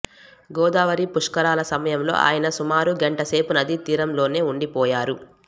గోదావరి పుష్కరాల సమయంలో ఆయన సుమారు గంట సేపు నదీ తీరంలోనే ఉండిపోయారు